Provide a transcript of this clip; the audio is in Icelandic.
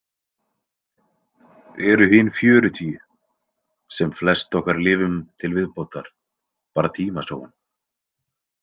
Eru hin fjörutíu, sem flest okkar lifum til viðbótar, bara tímasóun?